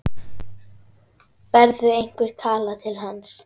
Berðu einhvern kala til hans?